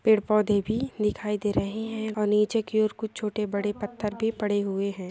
पेड़-पौधे भी दिखाई दे रहे हैं और नीचे की और कुछ छोटे-बड़े पत्थर के पड़े हुए हैं।